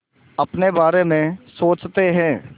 अपने बारे में सोचते हैं